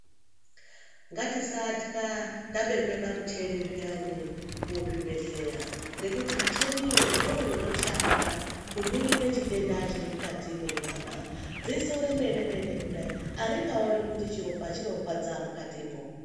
Ngatisatya tabekwe pamuchini zviyani muzvibhedhlera ngokutu michini iyoo ndoo yotoshanda kuningire chitenda chiri mukati mwonyama dziso remene mene kudai haringaoni kuti chiropa chorwadza mwukati mwoo.